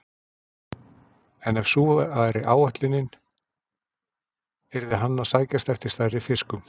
En ef sú væri ætlunin, yrði hann að sækjast eftir stærri fiskum.